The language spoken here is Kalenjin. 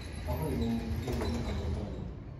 Akoi kouchi Kericho inendet.